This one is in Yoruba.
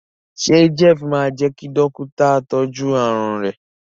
ṣe Jeff má jé kí Dọ́kítà tọjú àrùn rẹ?